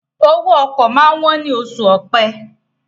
owó oko ma wón ní Oṣù Ọ̀pẹ́